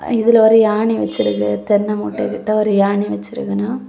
இதுல ஒரு யாணி வச்சிருக்கு தென்னை முட்ட கிட்ட ஒரு யாணி வெச்சிருக்குன.